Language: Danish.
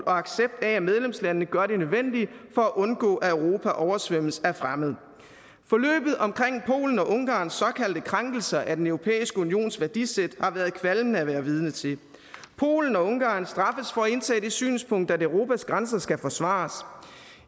og accept af at medlemslandene gør det nødvendige for at undgå at europa oversvømmes af fremmede forløbet omkring polens og ungarns såkaldte krænkelser af den europæiske unions værdisæt har været kvalmende at være vidne til polen og ungarn straffes for at indtage det synspunkt at europas grænser skal forsvares